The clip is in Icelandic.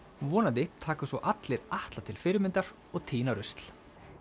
vonandi taka svo allir Atla sér til fyrirmyndar og tína rusl